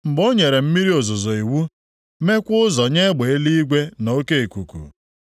mgbe o nyere mmiri ozuzo iwu meekwa ụzọ nye egbe eluigwe na oke ikuku,